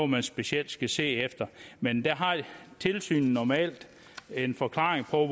man specielt skal se efter men der har tilsynet normalt en forklaring på